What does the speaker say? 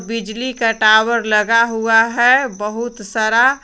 बिजली का टावर लगा हुआ है बहुत सारा।